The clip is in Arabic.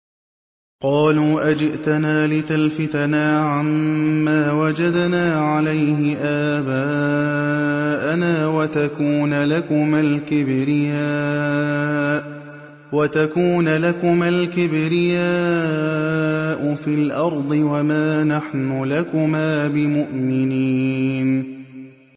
قَالُوا أَجِئْتَنَا لِتَلْفِتَنَا عَمَّا وَجَدْنَا عَلَيْهِ آبَاءَنَا وَتَكُونَ لَكُمَا الْكِبْرِيَاءُ فِي الْأَرْضِ وَمَا نَحْنُ لَكُمَا بِمُؤْمِنِينَ